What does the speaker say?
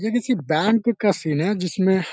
ये किसी बैंक का सीन है जिसमे --